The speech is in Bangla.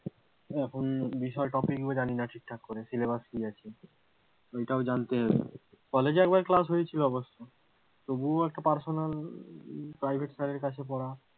এখন বিষয় topic গুলো জানিনা ঠিক করে, syllabus কি আছে ঐ টাও জানতে হবে, কলেজে একবার কাজ হয়েছিল অবশ্যই তবুও একটা personal private sir এর কাছে পড়া,